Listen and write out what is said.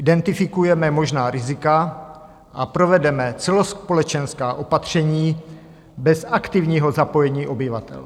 Identifikujeme možná rizika a provedeme celospolečenská opatření bez aktivního zapojení obyvatel.